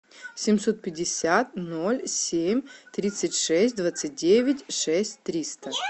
семьсот пятьдесят ноль семь тридцать шесть двадцать девять шесть триста